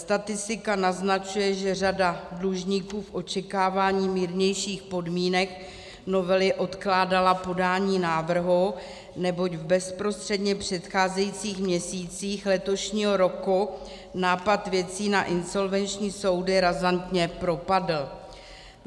Statistika naznačuje, že řada dlužníků v očekávání mírnějších podmínek novely odkládala podání návrhu, neboť v bezprostředně předcházejících měsících letošního roku nápad věcí na insolvenční soudy razantně propadl.